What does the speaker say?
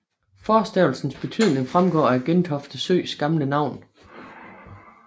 Forstavelsens betydning fremgår af Gentofte Søs gamle navn